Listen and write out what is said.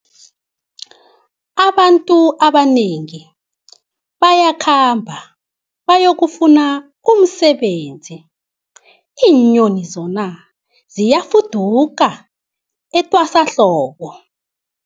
Abantu abanengi bayakhamba bayokufuna umsebenzi, iinyoni zona ziyafuduka etwasahlobo.